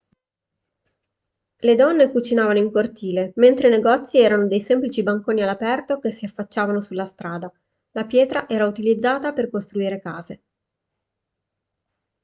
le donne cucinavano in cortile mentre i negozi erano dei semplici banconi all'aperto che si affacciavano sulla strada la pietra era utilizzata per costruire case